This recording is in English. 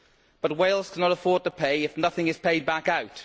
But Wales cannot afford to pay if nothing is paid back out.